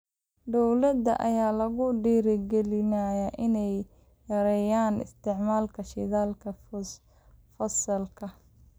Dowladaha ayaa lagu dhiirigelinayaa inay yareeyaan isticmaalka shidaalka fosilka ah.